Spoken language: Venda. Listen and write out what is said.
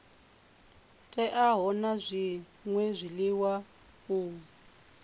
teaho na zwṅwe zwiḽiwa u